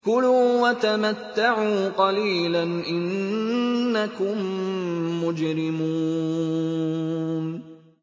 كُلُوا وَتَمَتَّعُوا قَلِيلًا إِنَّكُم مُّجْرِمُونَ